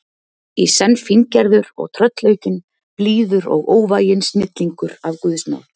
í senn fíngerður og tröllaukinn, blíður og óvæginn snillingur af guðs náð.